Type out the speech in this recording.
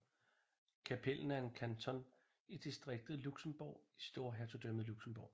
Capellen er en kanton i distriktet Luxembourg i storhertugdømmet Luxembourg